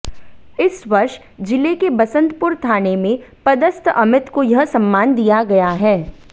इस वर्ष जिले के बसंतपुर थाने में पदस्थ अमित को यह सम्मान दिया गया है